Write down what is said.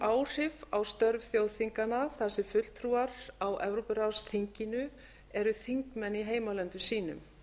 áhrif á störf þjóðþinganna þar sem fulltrúar á evrópuráðsþinginu eru þingmenn í heimalöndum sínum